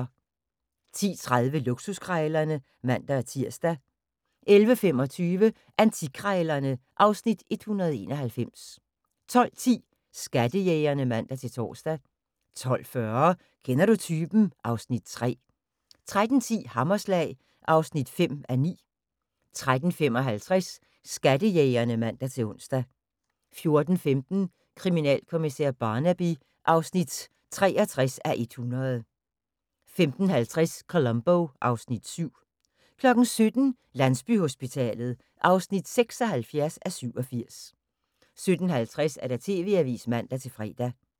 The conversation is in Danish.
10:30: Luksuskrejlerne (man-tir) 11:25: Antikkrejlerne (Afs. 191) 12:10: Skattejægerne (man-tor) 12:40: Kender du typen? (Afs. 3) 13:10: Hammerslag (5:9) 13:55: Skattejægerne (man-ons) 14:15: Kriminalkommissær Barnaby (63:100) 15:50: Columbo (Afs. 7) 17:00: Landsbyhospitalet (76:87) 17:50: TV-avisen (man-fre)